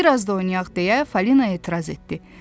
Qoy biraz da oynayaq deyə Fali etiraz etdi.